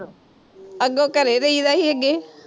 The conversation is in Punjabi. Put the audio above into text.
ਅੱਗੋਂ ਘਰੇ ਰਹੀ ਦਾ ਸੀ ਅੱਗੇ,